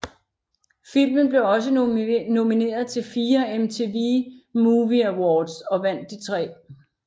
Filmen blev også nomineret til fire MTV Movie Awards og vandt de tre